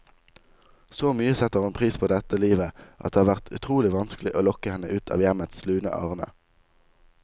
Så mye setter hun pris på dette livet, at det har vært utrolig vanskelig å lokke henne ut av hjemmets lune arne.